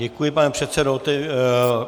Děkuji, pane předsedo.